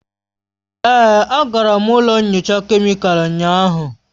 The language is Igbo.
Èé, agara m ụlọ nyocha kemịkalụ ụnyahụ.